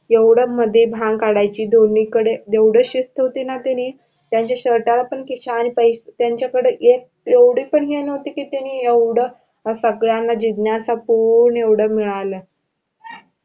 एवढ मध्ये भांग काढायचे दोन्ही कडे एवढी शिस्त होती ना त्यांनी त्यांचा शर्टला पण खिसा आणि त्यांचा कडे एक एवढी पण हे नहोती कि त्यांनी एवढ सगळ्यांना जिज्ञासा पुरवून एवढ मिळालं.